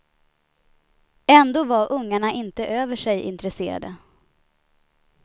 Ändå var ungarna inte över sig intresserade.